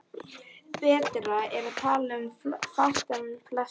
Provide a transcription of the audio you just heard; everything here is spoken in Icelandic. Betra er að tala fátt um flest.